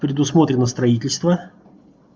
предусмотрено строительство